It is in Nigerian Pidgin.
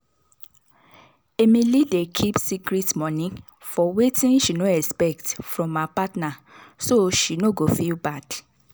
emily dey keep secret money for wetin she no expect from her partner so she no go feel bad.